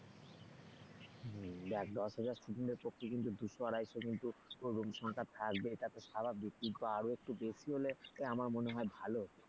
হম দেখ দশ হাজার student এর পক্ষে কিন্তু দুশো আড়াই শো কিন্তু room সংখ্যা থাকবে এটা তো স্বাভাবিক কিন্তু আরেকটু বেশি হলে আমার মনে হয় ভালো হতো।